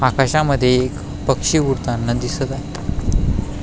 आकाशामध्ये एक पक्षी उडताना दिसत आहे.